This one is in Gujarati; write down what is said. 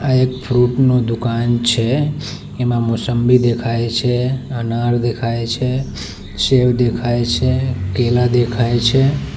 આ એક ફ્રુટ નો દુકાન છે એમાં મોસંબી દેખાય છે અનાર દેખાય છે સેવ દેખાય છે કેલા દેખાય છે.